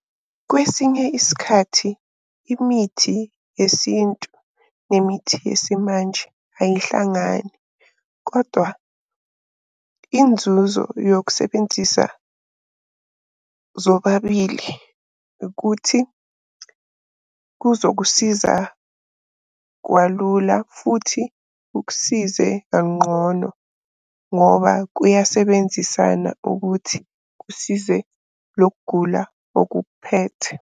Kwesinye isikhathi, imithi yesintu nemithi yesimanje ayihlangani, kodwa inzuzo yokusebenzisa zobabili ukuthi kuzokusiza kwalula, futhi kukusize kanqono. Ngoba kuyasebenzisana ukuthi kusize loku kugula okukuphethe.